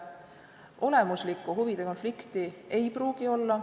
Olemuslikku huvide konflikti ei pruugi olla.